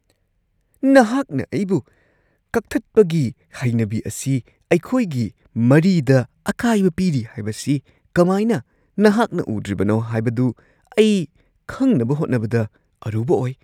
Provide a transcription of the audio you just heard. ꯅꯍꯥꯛꯅ ꯑꯩꯕꯨ ꯀꯛꯊꯠꯄꯒꯤ ꯍꯩꯅꯕꯤ ꯑꯁꯤ ꯑꯩꯈꯣꯏꯒꯤ ꯃꯔꯤꯗ ꯑꯀꯥꯏꯕ ꯄꯤꯔꯤ ꯍꯥꯏꯕꯁꯤ ꯀꯃꯥꯏꯅ ꯅꯍꯥꯛꯅ ꯎꯗ꯭ꯔꯤꯕꯅꯣ ꯍꯥꯏꯕꯗꯨ ꯑꯩ ꯈꯪꯅꯕ ꯍꯣꯠꯅꯕꯗ ꯑꯔꯨꯕ ꯑꯣꯏ ꯫